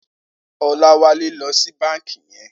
Olawale lò si bànkí yèn